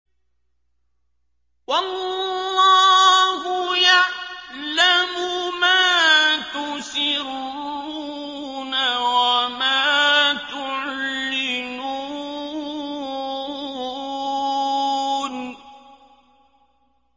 وَاللَّهُ يَعْلَمُ مَا تُسِرُّونَ وَمَا تُعْلِنُونَ